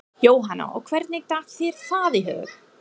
Jóhanna: Og hvernig datt þér það í hug?